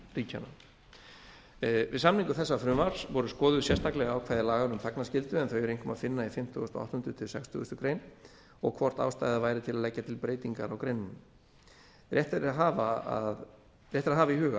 samanburðarríkjanna við samningu þessa frumvarps voru skoðuð sérstaklega ákvæði laganna um þagnarskyldu en þau er einkum að finna í fimmtugasta og áttunda til sextugasta greinar og hvort ástæða væri til að leggja til breytingar á greinunum rétt er að hafa í huga að